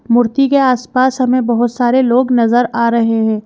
मूर्ति के आसपास हमें बहुत सारे लोग नजर आ रहे हैं।